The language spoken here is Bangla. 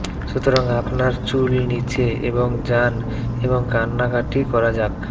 সুতরাং আপনার চুল নিচে এবং যান এবং কান্নাকাটি করা যাক